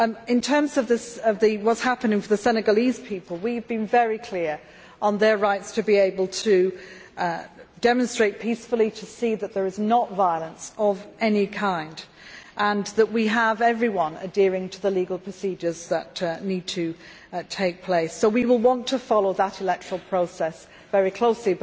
In terms of what is happening for the Senegalese people, we have been very clear on their rights to be able to demonstrate peacefully, to see that there is no violence of any kind, and that we have everyone adhering to the legal procedures that need to take place. So we will want to follow that electoral process very closely.